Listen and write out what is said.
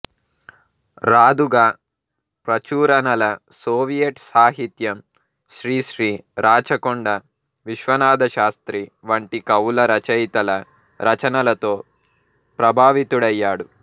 Raduga ప్రచురణల Soviet సాహిత్యం శ్రీశ్రీ రాచకొండ విశ్వనాథశాస్త్రి వంటి కవుల రచయితల రచనలతో ప్రభావితుడయ్యాడు